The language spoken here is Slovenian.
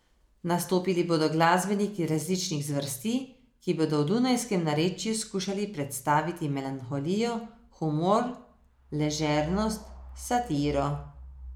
Nastopili bodo glasbeniki različnih zvrsti, ki bodo v dunajskem narečju skušali predstaviti melanholijo, humor, ležernost, satiro.